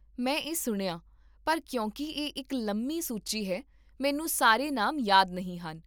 ਮੈਂ ਇਹ ਸੁਣਿਆ, ਪਰ ਕਿਉਂਕਿ ਇਹ ਇੱਕ ਲੰਮੀ ਸੂਚੀ ਹੈ, ਮੈਨੂੰ ਸਾਰੇ ਨਾਮ ਯਾਦ ਨਹੀਂ ਹਨ